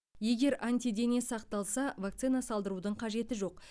егер антидене сақталса вакцина салдырудың қажеті жоқ